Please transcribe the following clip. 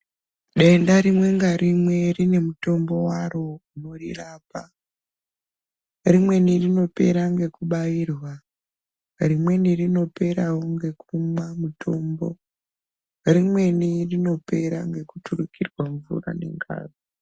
Denda rimwe ngarimwe rinemutombo waro unorirapa. Rimweni rinopera ngekubairwa, rimweni rinoperawo nekumwa mutombo. Rimweni tinopera nekuturukirwa mvura nengazi